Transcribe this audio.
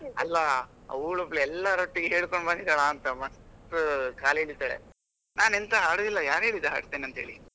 ಅಲ್ಲಾ ಅವಳೊಬ್ಬಳು ಎಲ್ಲಾರೊಟ್ಟಿಗೆ ಹೇಳ್ಕೊಂಡು ಬಂದಿದ್ದಾಳ ಅಂತ ಮಸ್ತ್ ಕಾಲ್ ಎಳೀತಾಳೆ ನಾನು ಎಂಥ ಹಾಡುದಿಲ್ಲ ಯಾರು ಹೇಳಿದ್ದು ಹಾಡ್ತೇನೆ ಅಂತ ಹೇಳಿ.